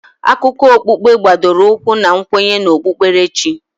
Akụkọ okpukpe gbadoro ụkwụ na nkwenye na okpukperechi.